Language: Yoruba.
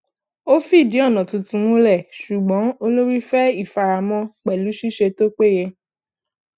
ó fìdí ònà tuntun múlẹ ṣùgbọn olórí fẹ ìfaramọ pẹlú ṣíṣe tó péye